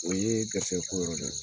O ye garisikɛ ko yɔrɔ de